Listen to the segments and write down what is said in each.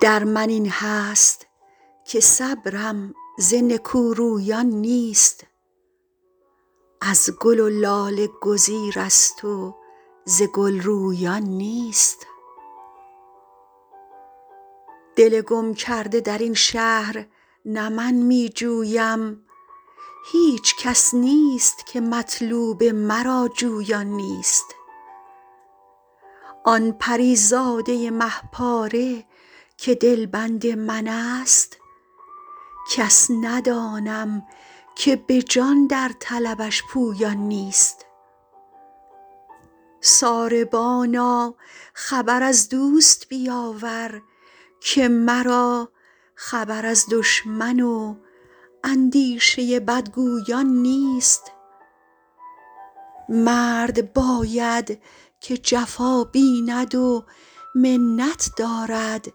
در من این هست که صبرم ز نکورویان نیست از گل و لاله گزیرست و ز گل رویان نیست دل گم کرده در این شهر نه من می جویم هیچ کس نیست که مطلوب مرا جویان نیست آن پری زاده مه پاره که دلبند من ست کس ندانم که به جان در طلبش پویان نیست ساربانا خبر از دوست بیاور که مرا خبر از دشمن و اندیشه بدگویان نیست مرد باید که جفا بیند و منت دارد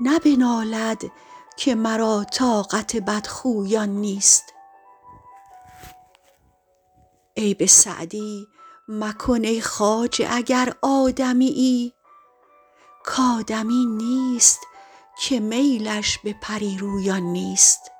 نه بنالد که مرا طاقت بدخویان نیست عیب سعدی مکن ای خواجه اگر آدمیی کآدمی نیست که میلش به پری رویان نیست